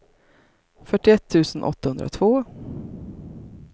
fyrtioett tusen åttahundratvå